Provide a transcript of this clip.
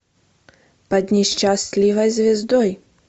под несчастливой звездой